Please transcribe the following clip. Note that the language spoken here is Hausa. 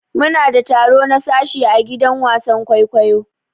Muna da taro na sashi ã gidan wasan kwaikwayo.